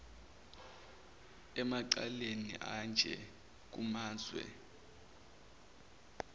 emacaleni anje kumazwe